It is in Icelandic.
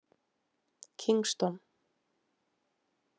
Kingston